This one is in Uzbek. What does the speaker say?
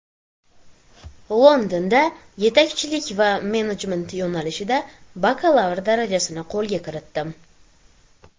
Londonda yetakchilik va menejment yo‘nalishida bakalavr darajasini qo‘lga kiritdim.